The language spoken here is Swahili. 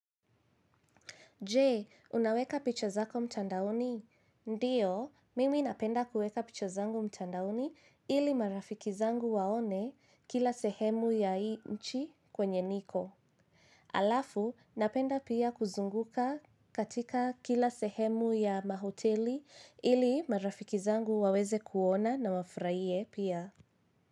Je, unaweka picha zako mtandaoni? Ndiyo, mimi napenda kuweka picha zangu mtandaoni ili marafiki zangu waone kila sehemu ya hii nchi kwenye niko. Alafu, napenda pia kuzunguka katika kila sehemu ya mahoteli ili marafiki zangu waweze kuona na wafuraie pia.